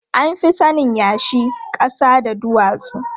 An fi sanin yashi, ƙasa da duwatsu.